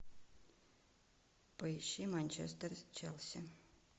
поищи манчестер с челси